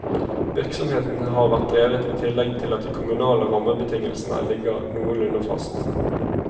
Virksomheten har vært drevet i tillegg til at de kommunale rammebetingelsene ligger noenlunde fast.